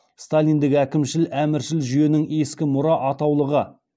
сталиндік әкімшіл әміршіл жүйенің ескі мұра атаулығы